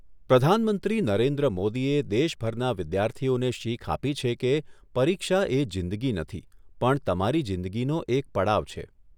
પ્રધાનમંત્રી નરેન્દ્ર મોદીએ દેશભરના વિદ્યાથીઓને શીખ આપી છે કે પરીક્ષા એ જિંદગી નથી, પણ તમારી જિંદગીનો એક પડાવ છે.